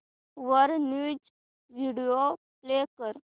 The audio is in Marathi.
वर न्यूज व्हिडिओ प्ले कर